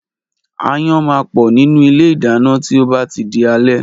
Aáyán máa pọ̀ nínú ilé ìdáná tí ó bá tí di alé